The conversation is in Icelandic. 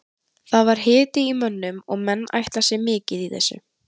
Það var hiti í mönnum og menn ætla sér mikið í þessu.